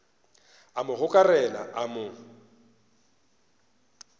a mo gokarela a mo